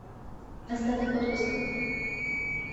остаток отпуска